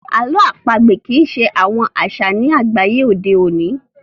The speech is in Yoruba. àlọ́ àpagbè kii ṣe àwọn aṣa ní àgbáyé òde oní